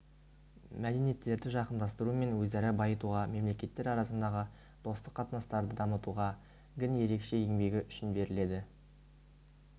мәдениеттерді жақындастыру мен өзара байытуға мемлекеттер арасындағы достық қатынастарды дамытуға гін ерекше еңбегі үшін беріледі